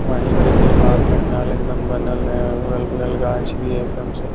वहीं पे तिरपाल पंडाल एकदम बनल है अगल-बगल गाछ भी है एकदम से।